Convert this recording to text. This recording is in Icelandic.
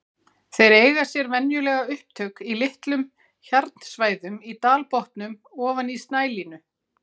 Þeir eiga sér venjulega upptök í litlum hjarnsvæðum í dalbotnum ofan snælínu.